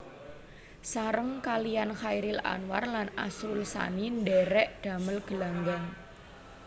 Sareng kaliyan Chairil Anwar lan Asrul Sani ndhèrèk damel Gelanggang